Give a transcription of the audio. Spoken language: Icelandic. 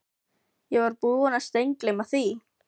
Ég var búinn að steingleyma því.